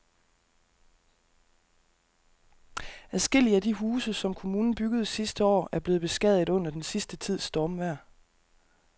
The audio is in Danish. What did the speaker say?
Adskillige af de huse, som kommunen byggede sidste år, er blevet beskadiget under den sidste tids stormvejr.